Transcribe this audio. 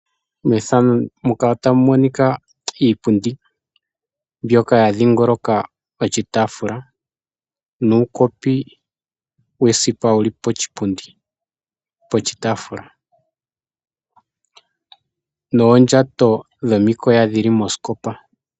Iipundi mbyoka ya dhingoloka oshitaafula ,nuukopi wesipa wuli poshipundi poshitaafula noondjato dhomikoya dhili mosikopa.